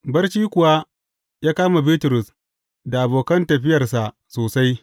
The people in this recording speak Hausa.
Barci kuwa ya kama Bitrus da abokan tafiyarsa sosai.